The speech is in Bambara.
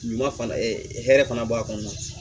Ɲuman fana hɛrɛ fana b'a kɔnɔ